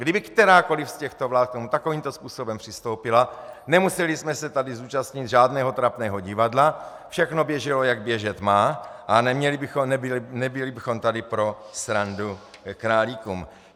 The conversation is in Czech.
Kdyby kterákoliv z těchto vlád k tomu takovýmto způsobem přistoupila, nemuseli jsme se tady zúčastnit žádného trapného divadla, všechno běželo, jak běžet má, a nebyli bychom tady pro srandu králíkům.